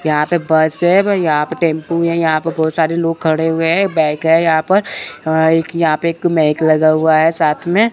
यहां पे बस है यहां पे टेंपू है यहां पे बहोत सारे लोग खड़े हुए है बैक यहां पर अ एक यहां पे एक मैक लगा हुआ है साथ में --